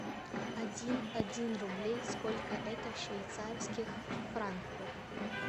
один один рублей сколько это в швейцарских франках